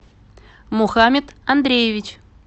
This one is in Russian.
мухаммед андреевич